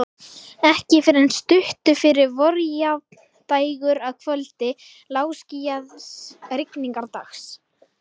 Ekki fyrr en stuttu fyrir vorjafndægur, að kvöldi lágskýjaðs rigningardags.